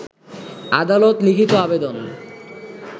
আদালত লিখিত আবেদন